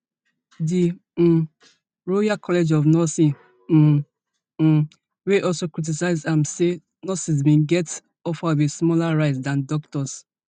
di um royal college of nursing um um wey also criticise am say nurses bin get offer of a smaller rise dan doctors